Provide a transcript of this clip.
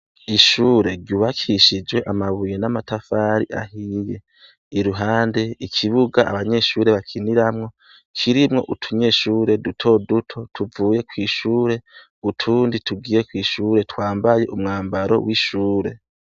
Ishure ryubakishijwe amabuye n'amatafari ahiye, iruhande ikibuga abanyeshure bakiniramwo kirimwo utunyeshure dutoduto tuvuye kw'ishure utundi tugiye kw'ishure twambaye umwambaro w'ishure.